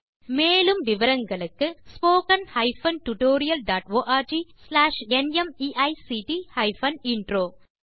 மேலும் விவரங்களுக்கு spoken hyphen tutorial dot org slash NMEICT hyphen intro மூல பாடம் தேசி க்ரூ சொலூஷன்ஸ்